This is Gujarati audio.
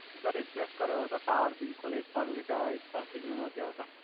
સર રિપ્લેસ કરયો તો ટાવર બિલ્કુલ એક પણ લીટા એક પણ સિગનલ નથી આવતા.